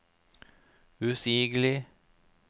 usigelig